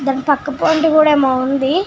దాని పక్క పొంటి కూడా ఏమో ఉంది .